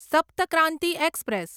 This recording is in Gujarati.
સપ્ત ક્રાંતિ એક્સપ્રેસ